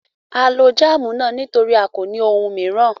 À ló jamu náà nítorí à kò ní ọ̀un mìíran.